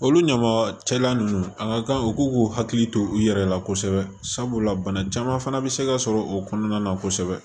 Olu ɲama cɛla ninnu a ka kan u k'u k'u hakili to u yɛrɛ la kosɛbɛ sabula bana caman fana bɛ se ka sɔrɔ o kɔnɔna na kosɛbɛ